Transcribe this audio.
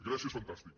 grècia és fantàstic